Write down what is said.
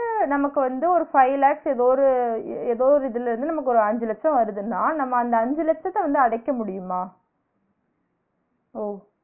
நமக்கு வந்து ஒரு five lakhs ஏதோ ஒரு ஏதோ ஒரு இதுல இருந்து நமக்கு ஒரு அஞ்சு லட்சம் வருதுனா நம்ம அந்த அஞ்சு லட்சத்த வந்து அடைக்க முடியுமா? ஓ